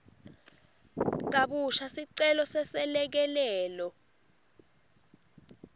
kabusha sicelo seselekelelo